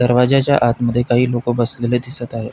दरवाज्याच्या आतमध्ये काही लोक बसलेले दिसत आहे.